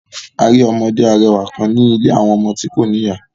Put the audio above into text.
A ri ọmọde arẹwa kan ni ìlé awọn ọmọ ti ko ni iya